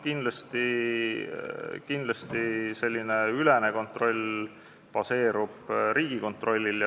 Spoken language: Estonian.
Kindlasti baseerub selline asutuseülene kontroll Riigikontrollil.